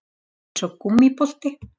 Eins og gúmmíbolti